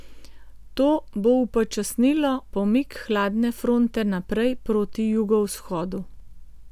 To bo upočasnilo pomik hladne fronte naprej proti jugovzhodu.